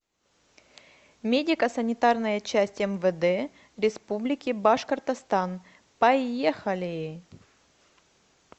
медико санитарная часть мвд республики башкортостан поехали